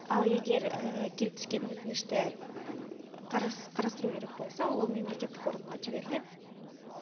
ал егер келіп түскен өтінішті қарастыру керек болса ол мемлекеттік органға жіберіледі